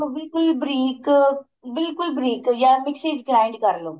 ਬਿਲਕੁਲ ਬਰੀਕ ਬਿਲਕੁਲ ਬਰੀਕ ਜਾ ਮਿਕਸੀ ਚ grind ਕਰ ਲੋ